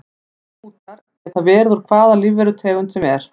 Þessir bútar geta verið úr hvaða lífverutegund sem er.